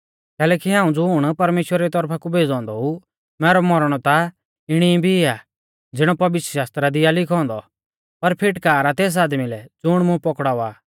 कैलैकि हाऊं ज़ुण परमेश्‍वरा री तौरफा कु भेज़ौ औन्दौ ऊ मैरौ मौरणौ ता इणी भी आ ज़िणौ पवित्रशास्त्रा दी आ लिखौ औन्दौ पर फिटकार आ तेस आदमी लै ज़ुण मुं पकड़ावा आ